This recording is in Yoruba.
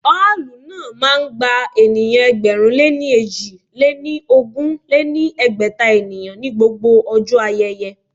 Ọ́ọ̀lù náà máa ń gba ènìyàn ẹgbẹ̀rún lé èjì lé ní ogún lé ní ẹgbẹ́ta ènìyàn ní gbogbo ọjọ́ ayẹyẹ